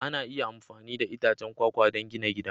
Ana iya amfani da itacen kwakwa don gina gida